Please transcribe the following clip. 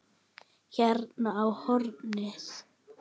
Hérna á hornið.